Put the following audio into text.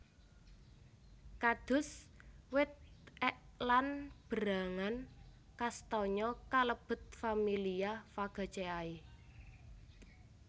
Kados wit ek lan berangan kastanya kalebet familia Fagaceae